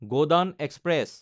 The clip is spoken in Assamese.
গোদান এক্সপ্ৰেছ